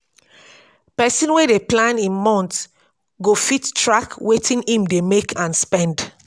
pesin wey dey plan im month go fit track wetin im dey make and spend